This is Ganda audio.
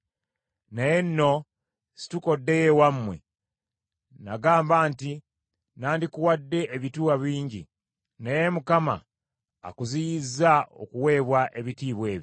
Kale nno situka oddeyo ewammwe! Nagamba nti nnandikuwadde ebitiibwa bingi, naye Mukama akuziyizza okuweebwa ebitiibwa ebyo.”